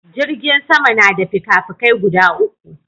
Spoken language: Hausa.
Jirgin sama na da fikafiki guda uku